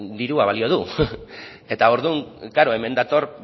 dirua balio du eta orduan klaro hemen dator